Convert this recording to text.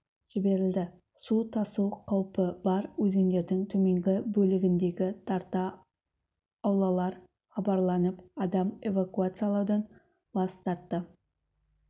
жіберілді су тасу қаупі бар өзендердің төменгі бөлігіндегі тарта аулалар хабарланып адам эвакуациялаудан бас тартты